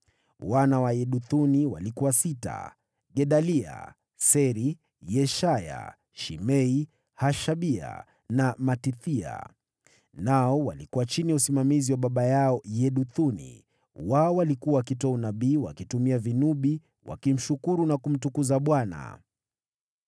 Wana wa Yeduthuni walikuwa sita: Gedalia, Seri, Yeshaya, Shimei, Hashabia, na Matithia, nao walikuwa chini ya usimamizi wa baba yao Yeduthuni, wao walikuwa wakitoa unabii wakitumia vinubi, wakimshukuru na kumtukuza Bwana .